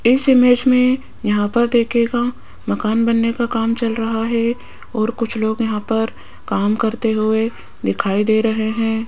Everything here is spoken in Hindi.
इस इमेज में यहां पर देखिएगा मकान बनने का काम चल रहा है और कुछ लोग यहां पर काम करते हुए दिखाई दे रहे हैं।